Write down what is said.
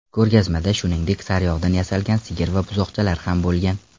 Ko‘rgazmada, shuningdek, saryog‘dan yasalgan sigir va buzoqchalar ham bo‘lgan.